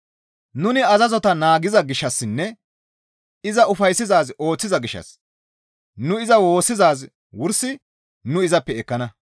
Nuni azazota naagiza gishshassinne iza ufayssizaaz ooththiza gishshas nu iza woossizaaz wursi nu izappe ekkana.